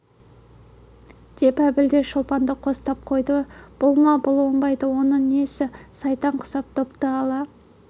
деп әбіл де шолпанды қостап қойды бұл ма бұл оңбайды онысы несі сайтан құсап допты ала